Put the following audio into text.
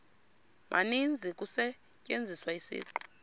maninzi kusetyenziswa isiqu